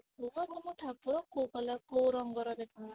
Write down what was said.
ତାହାଲେ କୁହ ତମ ଠାକୁର କୋଉ colour କୋଉ ରଙ୍ଗ ର ଦେଖାଯାଉଛନ୍ତି